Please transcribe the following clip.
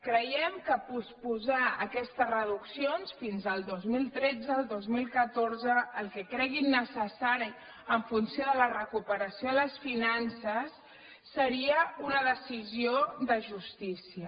creiem que posposar aquestes reduccions fins al dos mil tretze o el dos mil catorze el que creguin necessari en funció de la recuperació de les finances seria una decisió de justícia